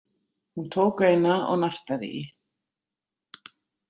Hún tók eina og nartaði í.